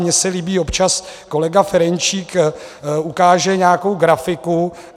Mně se líbí, občas kolega Ferjenčík ukáže nějakou grafiku.